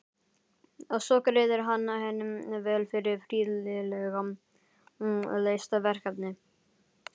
Og svo greiðir hann henni vel fyrir prýðilega leyst verkefni.